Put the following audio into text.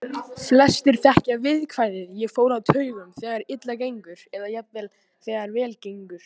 Flestir þekkja viðkvæðið ég fór á taugum, þegar illa gengur, eða jafnvel þegar vel gengur.